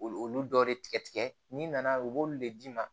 Olu olu dɔ de tigɛ tigɛ n'i nana u b'olu de d'i ma